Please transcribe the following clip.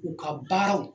U ka baaraw